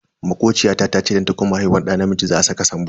Makociya ta tace idan ta kuma haihuwar da namiji za a saka Sambo.